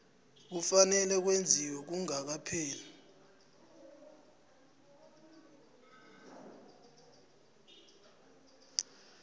kufanele kwenziwe kungakapheli